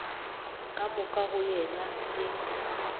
ka moka go yena e